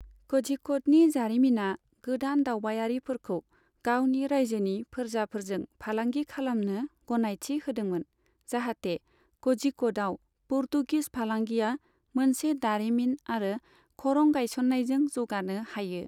कझिक'डनि जारिमिना गोदान दावबायारिफोरखौ गावनि रायजोनि फोरजाफोरजों फालांगि खालामनो गनायथि होदोंमोन, जाहाथे कझिक'डाव पर्तुगिस फालांगिया मोनसे दारिमिन आरो खरं गासयन्नायजों जौगानो हायो।